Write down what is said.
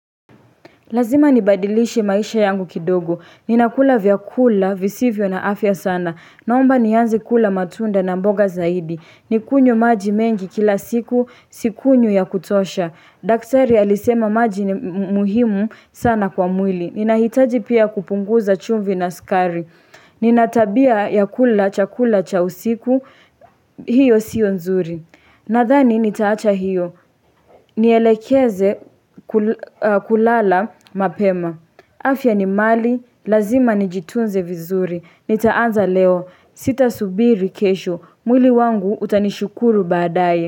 Lazima nibadilishe maisha yangu kidogo. Ninakula vyakula visivyo na afya sana. Naomba nianze kula matunda na mboga zaidi. Ninywe maji mengi kila siku, sinywi ya kutosha. Daktari alisema maji ni muhimu sana kwa mwili. Ninahitaji pia kupunguza chumvi na sukari. Nina tabia ya kula chakula cha usiku, hiyo sio nzuri. Nadhani nitaacha hiyo, nielekeze kulala mapema. Afya ni mali, lazima nijitunze vizuri. Nitaanza leo, sita subiri kesho. Mwili wangu utanishukuru baadaye.